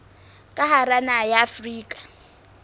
ka hara naha ya afrika